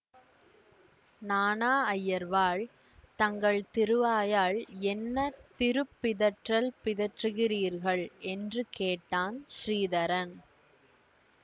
நாணா அய்யர்வாள் தங்கள் திருவாயால் என்ன திருப் பிதற்றல் பிதற்றுகிறீர்கள் என்று கேட்டான் ஸ்ரீதரன்